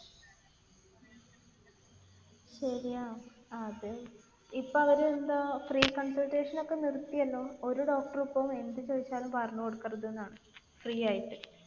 ശരിയാ. അത് ഇപ്പൊ അവർ എന്തോ free consultation ഒക്കെ നിർത്തിയല്ലോ. ഒരു doctor ഉം ഇപ്പൊ എന്ത് ചോദിച്ചാലും പറഞ്ഞ് കൊടുക്കരുതെന്നാണ്. free ആയിട്ട്.